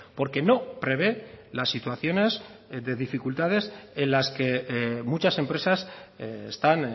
porque no prevé las situaciones de dificultades en las que muchas empresas están